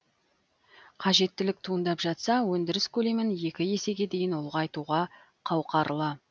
қажеттілік туындап жатса өндіріс көлемін екі есеге дейін ұлғайтуға қауқарлы